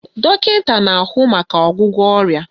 Dọkịta na-ahụ maka ọgwụgwọ ọrịa